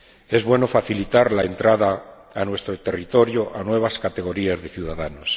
Es bueno facilitar la entrada a nuestro territorio de nuevas categorías de ciudadanos.